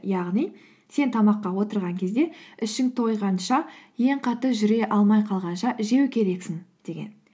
яғни сен тамаққа отырған кезде ішің тойғанша ең қатты жүре алмай қалғанша жеу керексің деген